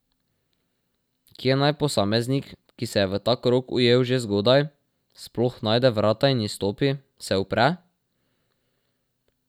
Kje naj posameznik, ki se je v ta krog ujel že zgodaj, sploh najde vrata in izstopi, se upre?